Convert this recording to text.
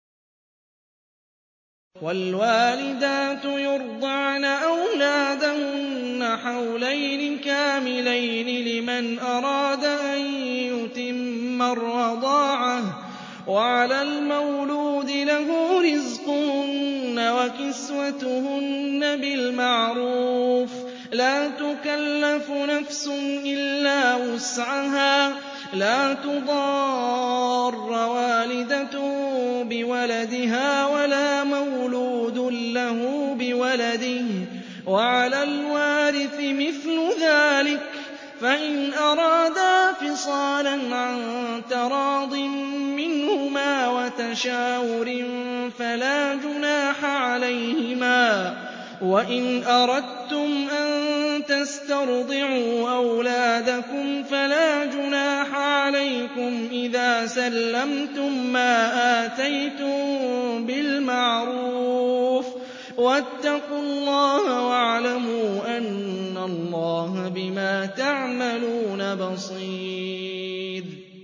۞ وَالْوَالِدَاتُ يُرْضِعْنَ أَوْلَادَهُنَّ حَوْلَيْنِ كَامِلَيْنِ ۖ لِمَنْ أَرَادَ أَن يُتِمَّ الرَّضَاعَةَ ۚ وَعَلَى الْمَوْلُودِ لَهُ رِزْقُهُنَّ وَكِسْوَتُهُنَّ بِالْمَعْرُوفِ ۚ لَا تُكَلَّفُ نَفْسٌ إِلَّا وُسْعَهَا ۚ لَا تُضَارَّ وَالِدَةٌ بِوَلَدِهَا وَلَا مَوْلُودٌ لَّهُ بِوَلَدِهِ ۚ وَعَلَى الْوَارِثِ مِثْلُ ذَٰلِكَ ۗ فَإِنْ أَرَادَا فِصَالًا عَن تَرَاضٍ مِّنْهُمَا وَتَشَاوُرٍ فَلَا جُنَاحَ عَلَيْهِمَا ۗ وَإِنْ أَرَدتُّمْ أَن تَسْتَرْضِعُوا أَوْلَادَكُمْ فَلَا جُنَاحَ عَلَيْكُمْ إِذَا سَلَّمْتُم مَّا آتَيْتُم بِالْمَعْرُوفِ ۗ وَاتَّقُوا اللَّهَ وَاعْلَمُوا أَنَّ اللَّهَ بِمَا تَعْمَلُونَ بَصِيرٌ